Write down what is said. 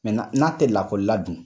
Mɛntenan n'a tɛ lakɔli la dun